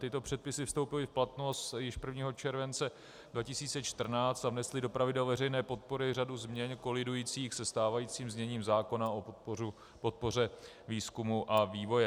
Tyto předpisy vstoupily v platnost již 1. července 2014 a vnesly do pravidel veřejné podpory řadu změn kolidujících se stávajícím zněním zákona o podpoře výzkumu a vývoje.